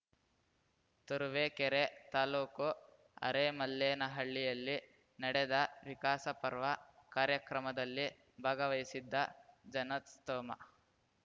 ತುರುವೇಕೆರೆ ತಾಲೂಕು ಅರೇಮಲ್ಲೇನಹಳ್ಳಿಯಲ್ಲಿ ನಡೆದ ವಿಕಾಸ ಪರ್ವ ಕಾರ್ಯಕ್ರಮದಲ್ಲಿ ಭಾಗವಹಿಸಿದ್ದ ಜನಸ್ತೋಮ